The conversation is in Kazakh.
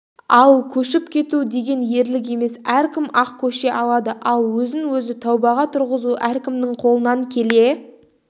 ал көшіп кету деген ерлік емес әркім-ақ көше алады ал өзін-өзі тәубаға тұрғызу әркімнің қолынан келе